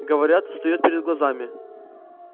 говорят встаёт перед глазами